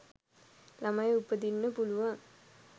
ළමයි උපදින්න පුළුවන්.